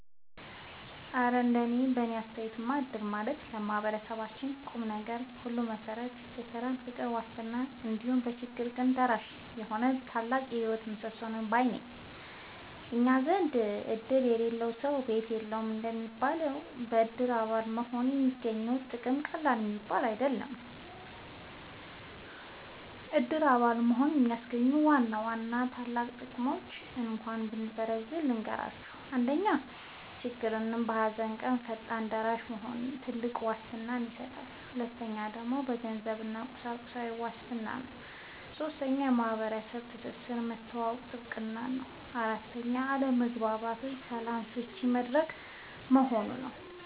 እረ እንደው በእኔ አስተያየትማ እድር ማለት ለማህበረሰባችን የቁምነገር ሁሉ መሠረት፣ የሰላምና የፍቅር ዋስትና፣ እንዲሁም በችግር ቀን ደራሽ የሆነ ታላቅ የህይወት ምሰሶ ነው ባይ ነኝ! እኛ ዘንድ "እድር የሌለው ሰው ቤት የለውም" እንደሚባለው፣ በእድር አባል መሆን የሚገኘው ጥቅም ቀላል የሚባል አይደለም። የእድር አባል መሆን የሚያስገኛቸውን ዋና ዋና ታላላቅ ጥቅሞች እንካችሁ በዝርዝር ልንገራችሁ፦ 1. በችግርና በሃዘን ቀን ፈጣን ደራሽ መሆኑ (ትልቁ ዋስትና) 2. የገንዘብና የቁሳቁስ ዋስትና 3. ማህበራዊ ትስስርና መተዋወቅን ማጥበቁ 4. አለመግባባቶችን በሰላም መፍቻ መድረክ መሆኑ